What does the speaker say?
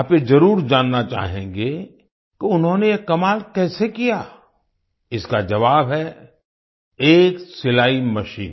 आप ये जरुर जानना चाहेंगे कि उन्होंने ये कमाल कैसे किया इसका जवाब है एक सिलाई मशीन